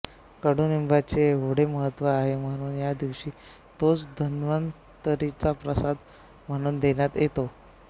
कडुनिंबाचे एवढे महत्त्व आहे म्हणून या दिवशी तोच धन्वंतरीचा प्रसाद म्हणून देण्यात येतो